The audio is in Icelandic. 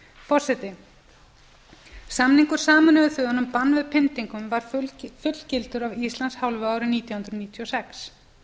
forseti samningur sameinuðu þjóðanna um bann við pyndingum var fullgiltur af íslands hálfu árið nítján hundruð níutíu og sex